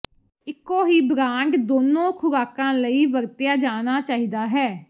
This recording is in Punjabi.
ਇੱਕੋ ਹੀ ਬ੍ਰਾਂਡ ਦੋਨੋ ਖੁਰਾਕਾਂ ਲਈ ਵਰਤਿਆ ਜਾਣਾ ਚਾਹੀਦਾ ਹੈ